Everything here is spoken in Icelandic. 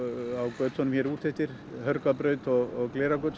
götunum hér úteftir Hörgárbraut og